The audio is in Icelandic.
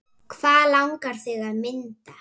Hvað langar þig að mynda?